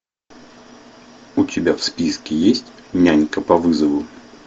у тебя в списке есть нянька по вызову